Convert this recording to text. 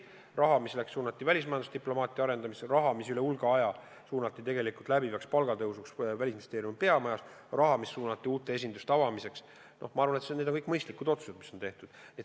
Raha, mis suunati välismajanduse diplomaatia arendamisse, raha, mis üle hulga aja suunati tegelikult läbivaks palgatõusuks Välisministeeriumi peamajas, raha, mis suunati uute esinduste avamiseks – ma arvan, need on kõik mõistlikud otsused.